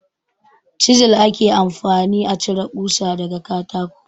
Cizel ake amfani a cire kusa daga katako.